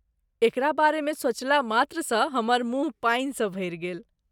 एकरा बारेमे सोचला मात्रसँ हमर मुँह पानिसँ भरि गेल।